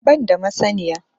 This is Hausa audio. Ban da masaniya